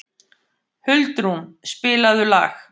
Huldrún, spilaðu lag.